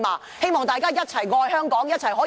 我希望大家一起愛香港，一起進步。